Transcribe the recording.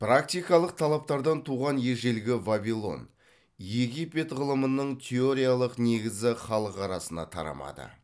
практикалық талаптардан туған ежелгі вавилон египет ғылымының теориялық негізі халық арасына тарамады